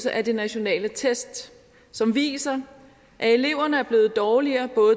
af de nationale test som viser at eleverne er blevet dårligere